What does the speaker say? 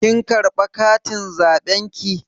Kin karɓa katin zaɓen ki?